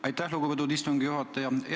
Aitäh, lugupeetud istungi juhataja!